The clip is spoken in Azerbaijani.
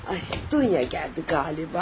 Ay, Dunya gəldi galiba.